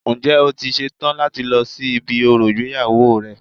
Ǹjẹ́ o ti ṣe tán láti lọ sí ibi orò ìgbéyàwó rẹ